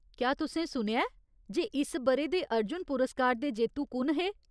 क्या तुसें सुनेआ ऐ जे इस ब'रे दे अर्जुन पुरस्कार दे जेत्तु कु'न हे ?